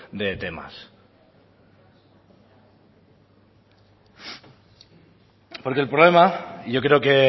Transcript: de temas porque el problema yo creo que